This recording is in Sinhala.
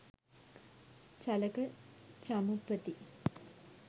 චලක චමුපති